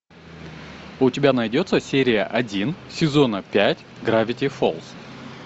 у тебя найдется серия один сезона пять гравити фолз